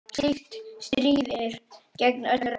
Slíkt stríðir gegn öllum reglum.